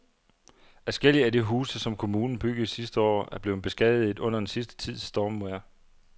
Adskillige af de huse, som kommunen byggede sidste år, er blevet beskadiget under den sidste tids stormvejr.